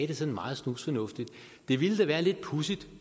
det sådan meget snusfornuftigt det ville da være lidt pudsigt